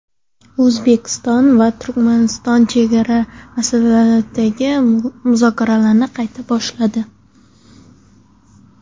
O‘zbekiston va Turkmaniston chegara masalasidagi muzokaralarni qayta boshladi.